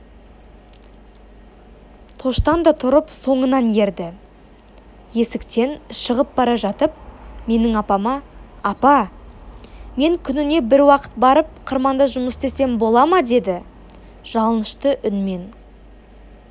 тоштан да тұрып соңынан ерді есіктен шығып бара жатып менің апама апа мен күніне бір уақыт барып қырманда жұмыс істесем бола ма деді жалынышты үнмен